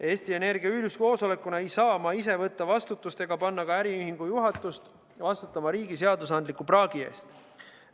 Eesti Energia üldkoosolekuna ei saa ma ise võtta vastutust ega panna ka äriühingu juhatust vastutama riigi seadusandliku praagi eest.